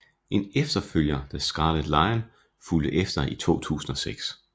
En efterfølger The Scarlet Lion fulgte efter i 2006